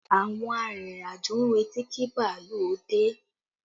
Àwọn arìnrìn-àjò ń retí kí bàálù ó dé